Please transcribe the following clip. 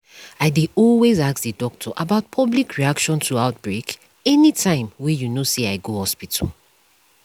i dey always ask the doctor about public reaction to outbreak anytym wey you know say i go hospital